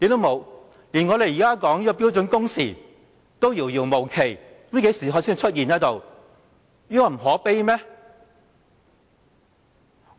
沒有，連我們現在討論的標準工時也遙遙無期，不知何時才會出現，這情況不可悲嗎？